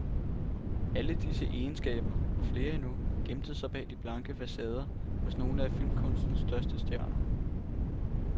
Alle disse egenskaber, og flere endnu, gemte sig bag de blanke facader hos nogle af filmkunstens største stjerner.